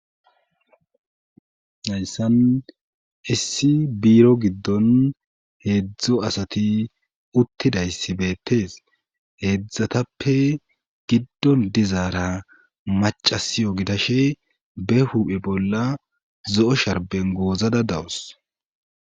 hayssan issi biiro giddon heedzdz asati uttidayssi beettees heedzdzatappe giddon dizaara macasiyo gidashe be huphe bolla zo'o sharben goozada dawus